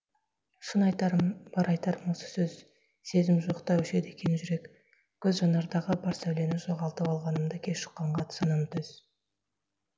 шын айтарым бар айтарым осы сөз сезім жоқ та өшеді екен жүрек көз жанардағы бар сәулені жоғалтып алғанымды кеш ұққанға санам төз